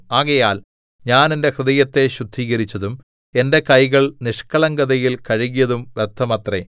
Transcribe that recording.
ആകയാൽ ഞാൻ എന്റെ ഹൃദയത്തെ ശുദ്ധീകരിച്ചതും എന്റെ കൈകൾ നിഷ്ക്കളങ്കതയിൽ കഴുകിയതും വ്യർത്ഥമത്രേ